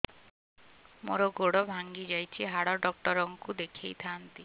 ମୋର ଗୋଡ ଭାଙ୍ଗି ଯାଇଛି ହାଡ ଡକ୍ଟର ଙ୍କୁ ଦେଖେଇ ଥାନ୍ତି